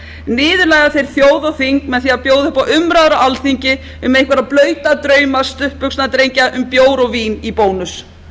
niðurlægja þeir þjóð og þing með því að bjóða upp á umræður á alþingi um einhverja blauta drauma stuttbuxnadrengja um bjór og vín í bónus